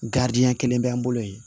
Garidiɲɛ kelen bɛ an bolo yen